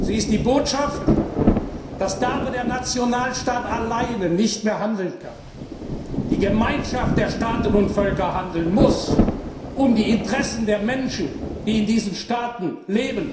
Sie ist die Botschaft, dass da, wo der Nationalstaat alleine nicht mehr handeln kann, die Gemeinschaft der Staaten und Völker handeln muss, um die Interessen der Menschen, die in diesen Staaten leben,